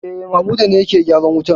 E, Mamuda ne yake gyaran wutan.